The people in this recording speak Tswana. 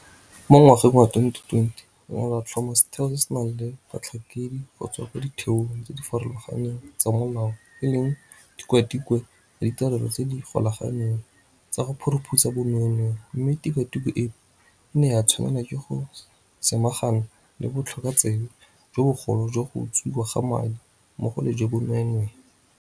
Mo ngwageng wa 2020 re ne ra tlhoma setheo se se nang le batlhankedi go tswa kwa ditheong tse di farologaneng tsa molao e leng Tikwatikwe ya Ditirelo tse di Golaganeng tsa go Phuruphutsha Bonweenwee mme tikwatikwe eno e ne ya tshwanelwa ke go samagana le botlhokotsebe jo bogolo jwa go utswiwa ga madi, mmogo le jwa bonweenwee.